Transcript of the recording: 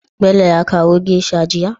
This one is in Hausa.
Bello ya kawo geisha jiya?